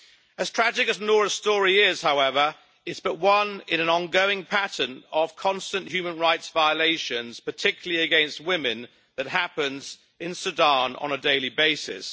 As tragic as Noura's story is, however, it is but one in an ongoing pattern of constant human rights violations, particularly against women, that happens in Sudan on a daily basis.